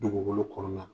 Dugukolo kɔrɔ la